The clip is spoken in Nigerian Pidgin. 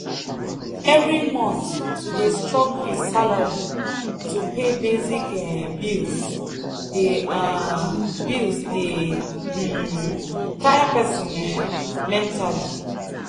every month to dey struggle with salary to pay basic um bills dey um bills dey um tire person um mentally.